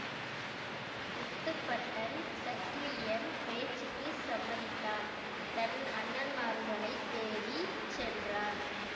முத்துப்பட்டன் சக்கிலியன் பேச்சுக்குச் சம்மதித்தான் தன் அண்ணன்மார்களைத் தேடி சென்றான்